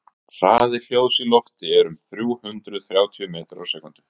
hraði hljóðs í lofti er um þrjú hundruð þrjátíu metrar á sekúndu